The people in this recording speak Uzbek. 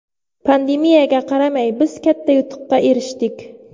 Pandemiyaga qaramay, biz katta yutuqqa erishdik.